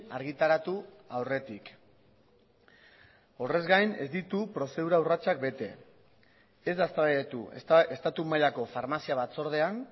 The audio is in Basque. argitaratu aurretik horrez gain ez ditu prozedura urratsak bete ez da eztabaidatu estatu mailako farmazia batzordean